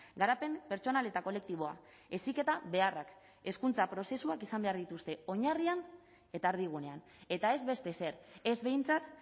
garapen pertsonal eta kolektiboa heziketa beharrak hezkuntza prozesuak izan behar dituzte oinarrian eta erdigunean eta ez beste ezer ez behintzat